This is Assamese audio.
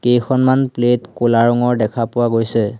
কেইখনমান প্লেট ক'লা ৰঙৰ দেখা পোৱা গৈছে।